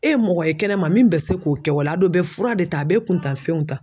E ye mɔgɔ ye kɛnɛma min bɛ se k'o kɛ wa a don bɛ fura de ta a bɛ kun tan fɛnw ta.